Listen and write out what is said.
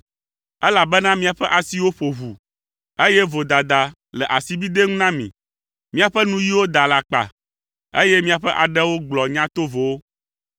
elabena miaƒe asiwo ƒo ʋu, eye vodada le asibidɛ ŋu na mi. Miaƒe nuyiwo da alakpa, eye miaƒe aɖewo gblɔ nya tovowo.